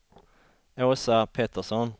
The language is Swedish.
Åsa Pettersson